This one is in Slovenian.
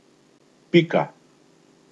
Pika.